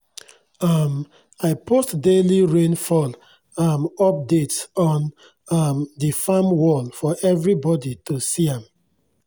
um i post daily rainfall um updates on um di farm wall for everybodi to see am